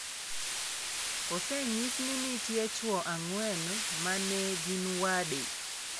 Osenyis ni nitie chwo ang'wen ma ne gin wade.